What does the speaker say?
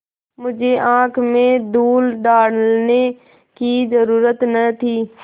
मुझे आँख में धूल डालने की जरुरत न थी